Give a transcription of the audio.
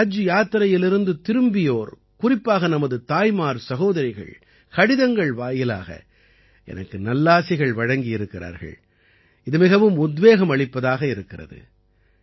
ஹஜ் யாத்திரையிலிருந்து திரும்பியோர் குறிப்பாக நமது தாய்மார்சகோதரிகள் கடிதங்கள் வாயிலாக எனக்கு நல்லாசிகள் வழங்கியிருக்கிறார்கள் இது மிகவும் உத்வேகமளிப்பதாக இருக்கிறது